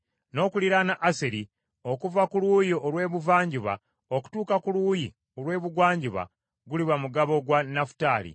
N’okuliraana Aseri okuva ku luuyi olw’ebuvanjuba okutuuka ku luuyi olw’ebugwanjuba guliba mugabo gwa Nafutaali.